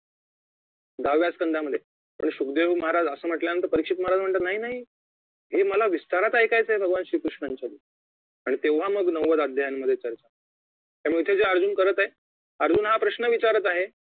दहाव्या संधामध्ये सुखदेव महाराज असं म्हटल्यानंतर परीक्षेत महाराज म्हणतात नाही नाही हे मला विस्तारात ऐकायचं आहे भगवान श्री कृष्णाचं आणि तेव्हा मग नव्वद अध्यायामध्ये चर्चा त्यामुळे इथे जे अर्जुन करत आहे अर्जुन हा प्रश्न विचारत आहे